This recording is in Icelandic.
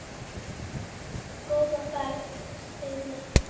Góða ferð, Steini.